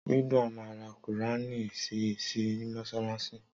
Ridwan ma ra qùránì si sí mọ́ṣáláṣí